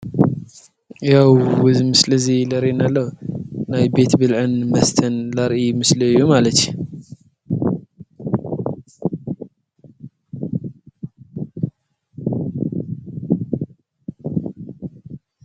ያው ዝምስለ እዙይ ለሬና ሎ ናይ ቤት ብልዕን መስተን ላርኢ ምስልእዩ።